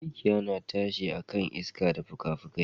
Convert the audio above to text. Mikiya na tashi ne akan iska da fukafukai.